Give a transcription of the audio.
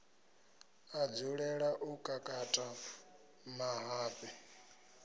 a dzulela u kakata mahafhe